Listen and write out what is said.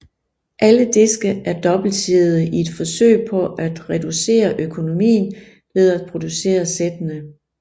Alle diske er dobbeltsidede i et forsøg på at reducere økonomien ved at producere sættene